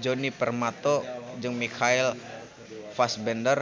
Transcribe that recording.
Djoni Permato jeung Michael Fassbender